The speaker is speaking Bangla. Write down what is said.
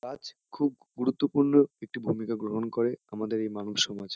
গাছ খুব গুরুত্বপূর্ণ একটি ভূমিকা গ্রহণ করে আমাদের এই মানব সমাজ।